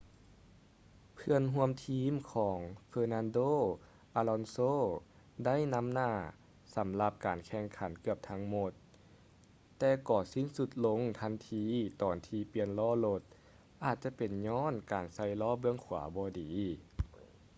ເພື່ອນຮ່ວມທີມຂອງ fernando alonso ໄດ້ນຳໜ້າສຳລັບການແຂ່ງຂັນເກືອບທັງໝົດ ແຕ່ກໍສິ້ນສຸດລົງທັນທີຕອນທີ່ປ່ຽນລໍ້ລົດ ອາດຈະເປັນຍ້ອນການໃສ່ລໍ້ເບື້ອງຂວາບໍ່ດີ